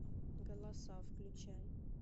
голоса включай